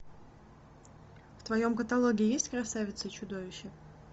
в твоем каталоге есть красавица и чудовище